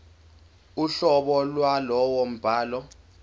uhlobo lwalowo mbhalo